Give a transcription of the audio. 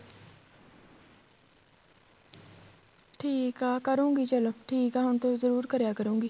ਠੀਕ ਆ ਕਰੂਗੀ ਚਲੋਂ ਠੀਕ ਆ ਹੁਣ ਤੋ ਜਰੂਰ ਕਰਿਆ ਕਰੂਗੀ